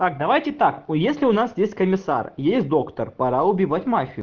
так давайте так если у нас здесь комиссар есть доктор пора убивать мафию